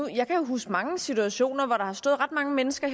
jeg kan huske mange situationer hvor der har stået ret mange mennesker